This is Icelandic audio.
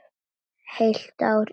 Heilt ár í felum.